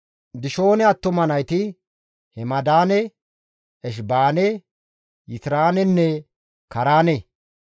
Dishoone attuma nayti Hemdaane, Eshibaane, Yitiraanenne Kaaraane.